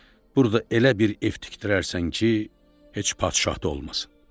Burda elə bir ev tikdirərsən ki, heç padişah da olmasın.